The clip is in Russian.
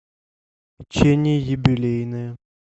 печенье юбилейное